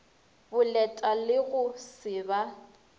boleta le go se ba